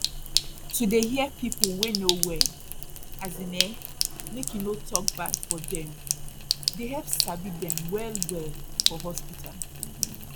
to dey hear pipu wey no well as in ehmake you no tok bad for dem dey help sabi dem well well for hospital